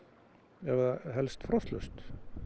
ef það helst frostlaust